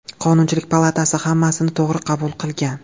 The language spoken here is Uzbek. Qonunchilik palatasi hammasini to‘g‘ri qabul qilgan.